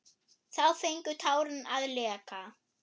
Þá fengu tárin að leka.